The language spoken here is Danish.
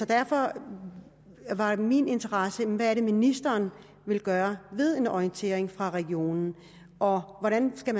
derfor var min interesse hvad det er ministeren vil gøre ved en orientering fra regionen og hvordan det skal